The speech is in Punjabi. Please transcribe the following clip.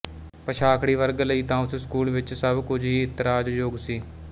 ਪਛਾਖੜੀ ਵਰਗ ਲਈ ਤਾਂ ਉਸ ਸਕੂਲ ਵਿੱਚ ਸਭ ਕੁਝ ਹੀ ਇਤਰਾਜ਼ ਯੋਗ ਸੀ